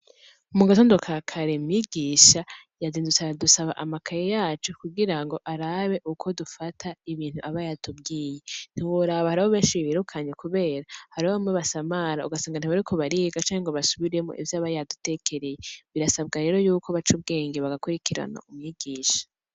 Mu gatondo ka kare , mwigisha yazindutse aradusaba amakaye yacu kugira ngo arabe ukondufata ibintu aba yatubwiye. Ntiworaba hariho benshi birukanye kubera hariho bamwe basamara ugasanga ntibariko bariga canke ngo basubiremwo ivyo aba yadutekereye. Birasabwa rero ko baca ubwenge bagakurikirana umwigisha.